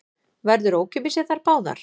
Verður ókeypis í þær báðar